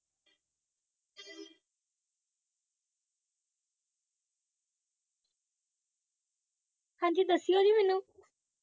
ਹਾਂਜੀ ਦੱਸਿਓ ਜੀ ਮੈਂਨੂੰ